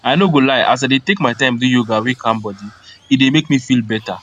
i no go lie as i dey take time do yoga wey calm body e dey make me feel better